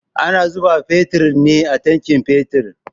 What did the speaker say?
Ana zuba fetur ne a tankin fetur